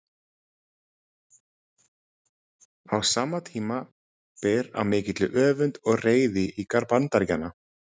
Á sama tíma ber á mikilli öfund og reiði í garð Bandaríkjanna.